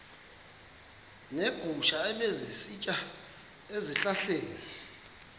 neegusha ebezisitya ezihlahleni